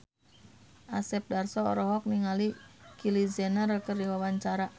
Asep Darso olohok ningali Kylie Jenner keur diwawancara